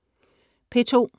P2: